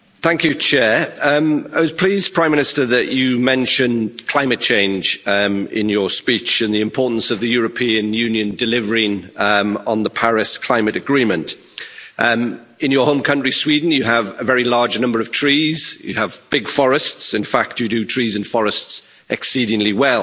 Mr President, I was pleased that the Prime Minister mentioned climate change in his speech and the importance of the European Union delivering on the Paris climate agreement. Prime Minister, in your home country, Sweden, you have a very large number of trees, you have big forests in fact you do trees and forests exceedingly well.